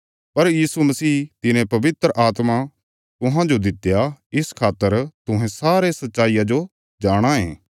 पर यीशु मसीह तिने पवित्र आत्मा तुहांजो दित्या इस खातर तुहें सारे सच्चाई जो जाणाँ ये